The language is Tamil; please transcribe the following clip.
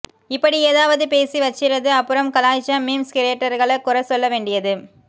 இப்படி ஏதாவது பேசி வச்சிறது அப்புறம் கலாய்ச்சா மீம்ஸ் கிரியேட்டர்கள குறை சொல்லவேண்டியது